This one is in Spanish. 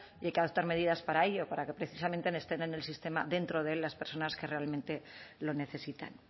y que hay que adoptar medidas para ello para que precisamente estén en el sistema dentro de él las personas que realmente lo necesitan